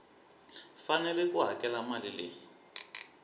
fanele ku hakela mali leyi